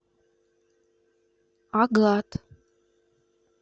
агат